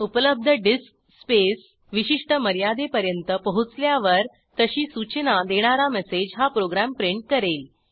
उपलब्ध disk space विशिष्ट मर्यादेपर्यंत पोहोचल्यावर तशी सूचना देणारा मेसेज हा प्रोग्रॅम प्रिंट करेल